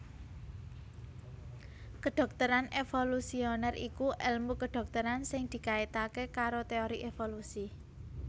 Kedhokteran evolusioner iku èlmu kedhokteran sing dikaitaké karo teori evolusi